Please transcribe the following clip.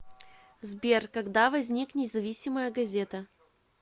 сбер когда возник независимая газета